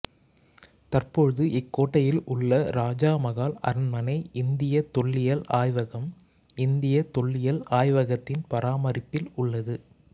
தற்போது இக்கோட்டையில் உள்ள இராஜா மகால் அரண்மனை இந்தியத் தொல்லியல் ஆய்வகம்இந்தியத் தொல்லியல் ஆய்வகத்தின் பராமரிப்பில் உள்ளது